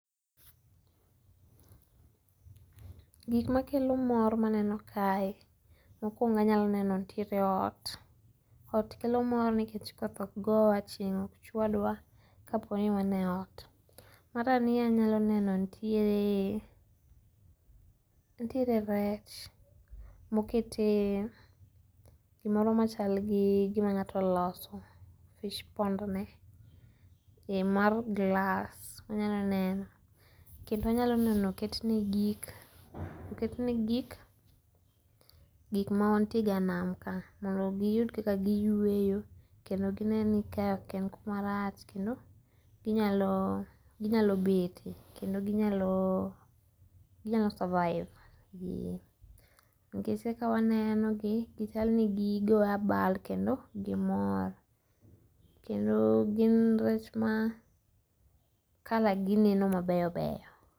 Gik makelo mor ma aneno kae mokuongo' anyalo neno nitire ot , ot kelo mor nikech koth ok gowa aching' ok chwadwa ka poni wanie ot , marariyo anyalo neno nitie nitiere rech mokete gimoro machalni gimangato oloso fishpondne mar glass manyalo neno kendo anyalo neno oketne gik gik manitiega nam ka mondo giyud kaka giyueyo kendo gineni kae ok kumarach kendo ginyalo bete kendo ginyalo survive gi nikech kawanenogi chalni gigoyo abal kendo gimor kendo gin rech ma color gi neno ma beyo beyo